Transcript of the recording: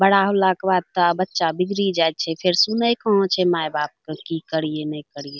बड़ा होला के बाद तो बच्चा बिगड़ी जाइत छे फिर सुने कहा छे माई बाप के की करीये नय करीये।